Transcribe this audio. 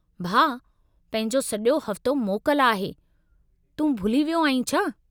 भाउ, पंहिंजो सॼो हफ़्तो मोकल आहे, तूं भुली वियो आहीं छा?